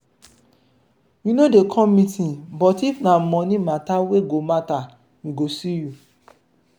you no dey come meeting but if na money matter we go matter we go see you.